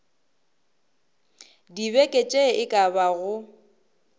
dibeke tše e ka bago